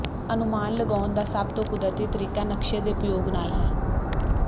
ਅਨੁਮਾਨ ਲਗਾਉਣ ਦਾ ਸਭ ਤੋਂ ਕੁਦਰਤੀ ਤਰੀਕਾ ਨਕਸ਼ੇ ਦੇ ਉਪਯੋਗ ਨਾਲ ਹੈ